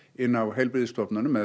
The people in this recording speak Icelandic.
inni á heilbrigðisstofnunum eða